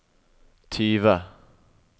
tyve